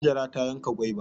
Hajara ta yanka gwaiba.